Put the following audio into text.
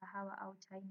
Wa kahawa au chai